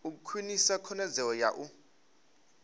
u khwinisa khonadzeo ya u